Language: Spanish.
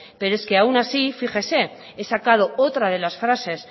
pero es que aún así fíjese he sacado otra de las frases